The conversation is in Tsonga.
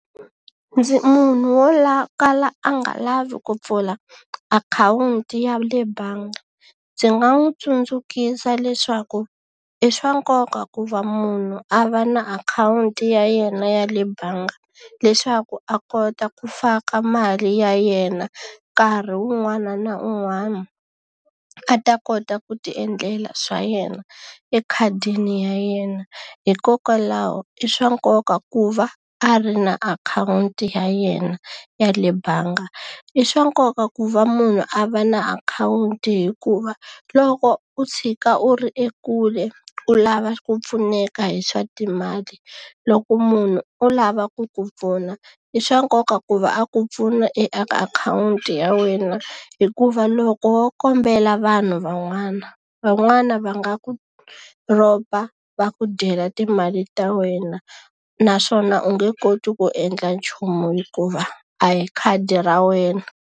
Munhu wo kala a nga lavi ku pfula akhawunti ya le bangi, ndzi nga n'wi tsundzuxa leswaku i swa nkoka ku va munhu a va na akhawunti ya yena ya le bangi. Leswaku a kota ku faka mali ya yena nkarhi un'wana na un'wana, a ta kota ku ti endlela swa yena ekhadini ya yena. Hikokwalaho i swa nkoka ku va a ri na akhawunti ya yena ya le bangi. I swa nkoka ku va munhu a va na akhawunti hikuva loko u tshika u ri ekule u lava ku pfuneka hi swa timali, loko munhu o lava ku ku pfuna, i swa nkoka ku va a ku pfuna eka akhawunti ya wena. Hikuva loko wo kombela vanhu van'wana, van'wana va nga ku rhoba va ku dyela timali ta wena, naswona u nge koti ku endla nchumu hikuva a hi khadi ra wena.